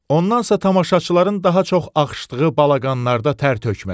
Ondansa tamaşaçıların daha çox axışdığı balaqanlarda tər tökmək.